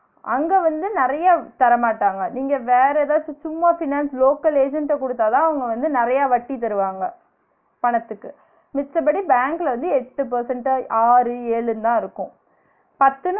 அங்க வந்து நெறய தரமாட்டாங்க நீங்க வேற ஏதாச்சு சும்மா financelocal agent ட குடுத்தாதான் அவுங்க வந்து நெறய வட்டி தருவாங்க பணத்துக்கு, மிச்சபடி பேங்க்ல வந்து எட்டு percent தா ஆறு ஏழுன்னு தான் இருக்கு பத்து